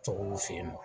Tɔgɔw fe yen nɔ